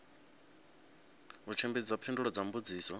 u tshimbidza phindulo kha mbudziso